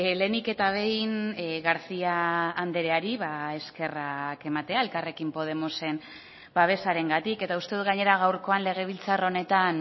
lehenik eta behin garcía andreari eskerrak ematea elkarrekin podemosen babesarengatik eta uste dut gainera gaurkoan legebiltzar honetan